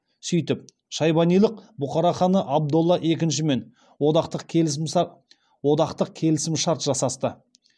сөйтіп шайбанилық бұхара ханы абдолла екіншімен одақтық келісім шарт жасасты